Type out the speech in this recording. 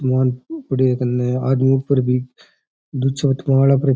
सामान पड़ो है आदमी ऊपर भी --